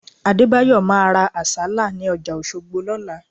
Adébáyọ̀ máa ra Àsálà ní ọjà Òṣogbo lọ́la